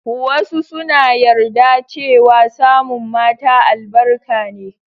Wasu suna yarda cewa samun mata albarka ne.